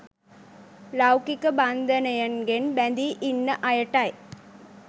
ලෞකික බන්ධනයන්ගෙන් බැඳී ඉන්න අයටයි.